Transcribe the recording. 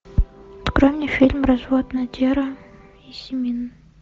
открой мне фильм развод надера и симин